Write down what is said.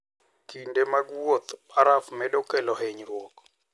Kinde mag wuoth, baraf medo kelo hinyruok.